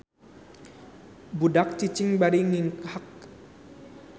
Budak cicing bari nginghak.